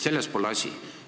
Selles pole asi.